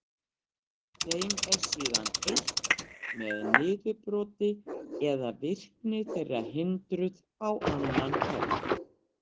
Þeim er síðan eytt með niðurbroti eða virkni þeirra hindruð á annan hátt.